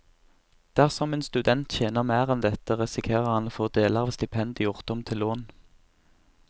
Dersom en student tjener mer enn dette, risikerer han å få deler av stipendet gjort om til lån.